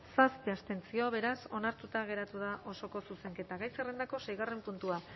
zazpi abstentzio beraz onartuta geratu da osoko zuzenketa gai zerrendako seigarren puntua